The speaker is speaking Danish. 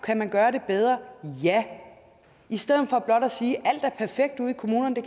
kan man gøre det bedre ja i stedet for blot at sige at alt er perfekt ude i kommunerne og